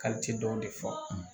dɔw de fɔ